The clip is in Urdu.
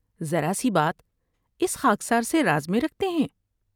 ذرا سی بات اس خاکسار سے راز میں رکھتے ہیں ۔